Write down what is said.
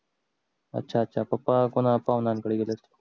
अच्छा अच्छा पप्पा कोण्या पाहुण्यांकडे गेले असेल